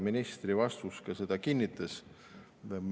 Ministri vastus ka kinnitas seda.